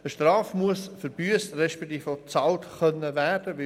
Eine Strafe muss verbüsst respektive bezahlt werden können.